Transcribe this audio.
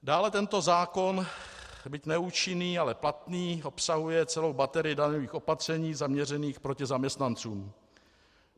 Dále tento zákon, byť neúčinný, ale platný, obsahuje celou baterii daňových opatření zaměřených proti zaměstnancům.